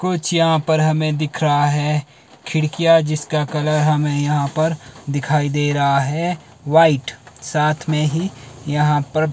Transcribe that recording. कुछ यहां पर हमें दिख रहा है खिड़कियां जिसका कलर हमें यहां पर दिखाई दे रहा है व्हाइट साथ में ही यहां पर--